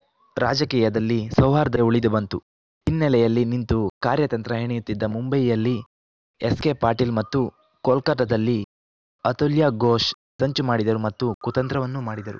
ರಾಜಕೀಯದಲ್ಲಿ ಸೌಹಾರ್ದ ಉಳಿದು ಬಂತು ಹಿನ್ನೆಲೆಯಲ್ಲಿ ನಿಂತು ಕಾರ್ಯತಂತ್ರ ಹೆಣೆಯುತ್ತಿದ್ದ ಮುಂಬಯಿಯಲ್ಲಿ ಎಸ್‌ಕೆಪಾಟೀಲ್ ಮತ್ತು ಕೋಲ್ಕತ್ತಾದಲ್ಲಿ ಅತುಲ್ಯ ಘೋಷ್‌ ಸಂಚು ಮಾಡಿದರು ಮತ್ತು ಕುತಂತ್ರವನ್ನೂ ಮಾಡಿದರು